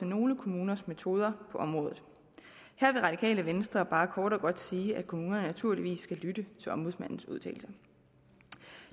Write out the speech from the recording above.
nogle kommuners metoder på området her vil radikale venstre bare kort og godt sige at kommunerne naturligvis skal lytte til ombudsmandens udtalelser